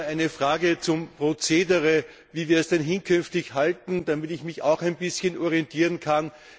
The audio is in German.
Ich habe nur eine Frage zum Prozedere, wie wir es denn künftig halten, damit ich mich auch ein bisschen orientieren kann.